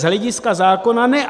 Z hlediska zákona ne.